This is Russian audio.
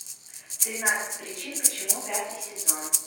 тринадцать причин почему пятый сезон